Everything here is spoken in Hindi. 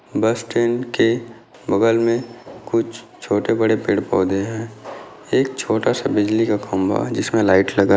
बस ट्रेन के बगल मे कुछ छोटे बड़े पेड़ पौधे है एक छोटा सा बिजली का खंबा जिसमे लाइट लगा --